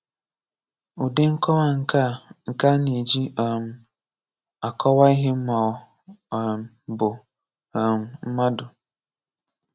Ụdị Nkọwa nke A nke A na-eji um akọwaa ihe ma ọ um bụ um mmadu.